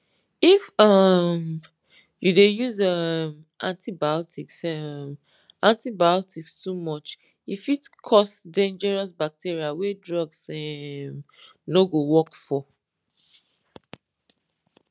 if um you dey use um antibiotics um antibiotics too much e fit cause dangerous bacteria wey drugs um no go work for